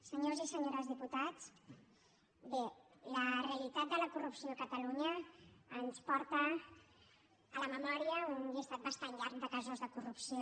senyors i senyores diputats bé la realitat de la corrupció a catalunya ens porta a la memòria un llistat bastant llarg de casos de corrupció